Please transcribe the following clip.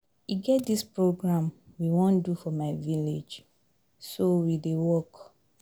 E get dis program we wan do for my village so we dey work